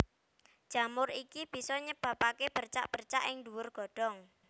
Jamur iki bisa nyebabaké bercak bercak ing dhuwur godhong